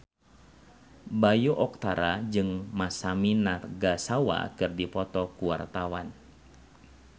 Bayu Octara jeung Masami Nagasawa keur dipoto ku wartawan